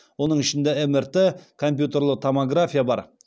оның ішінде мрт компьютерлі томография бар